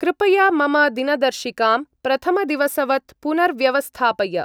कृपया मम दिनदर्शिकां प्रथमदिवसवत् पुनर्व्यवस्थापय।